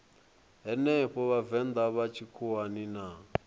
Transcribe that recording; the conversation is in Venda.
henefho vhavenḓa vha tshikhuwani na